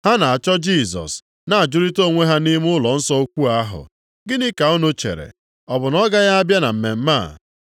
Ha na-achọ Jisọs na-ajụrịta onwe ha nʼime ụlọnsọ ukwu ahụ, “Gịnị ka unu chere? Ọ bụ na ọ gaghị abịa na mmemme a?”